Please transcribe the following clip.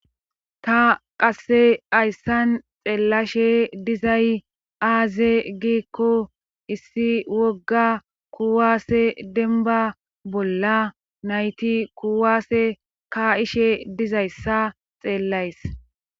Ta qasse ayssan xeellashe dizay aaze giikko issi wogga kuwaase denba bolla nayti kuwaase ka7ishe dizayssa xeellays